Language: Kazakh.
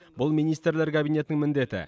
бұл министрлер кабинетінің міндеті